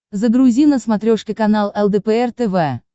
загрузи на смотрешке канал лдпр тв